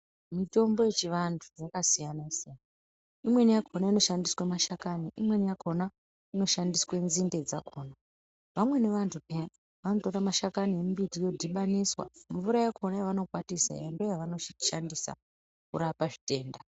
Mitombo yechivanthu yakasiyana siyana imweni yakona inoshandiswe mashakani imwena yachona inoshandiswe nzinde dzakona vamweni vanthu peyani vanotora mashakani emumbuti vodhibaniswa mvura yakona yavanokwatisa iyani ndoyavanoshandisa kurapa zvitenda.